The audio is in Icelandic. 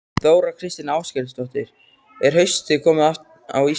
Þóra Kristín Ásgeirsdóttir: Er haustið komið á Íslandi?